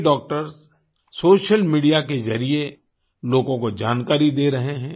कई doctors social media के जरिए लोगों को जानकारी दे रहे हैं